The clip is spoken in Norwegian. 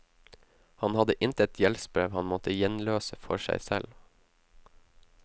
Han hadde intet gjeldsbrev han måtte gjenløse for seg selv.